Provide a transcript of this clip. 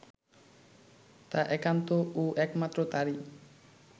তা একান্ত ও একমাত্র তারই